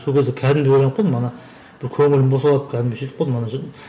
сол кезде кәдімгідей ойланып қалдым ана бір көңілім босап кәдімгі сөйтіп қалдым